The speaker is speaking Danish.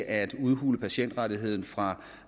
at udhule patientrettigheden fra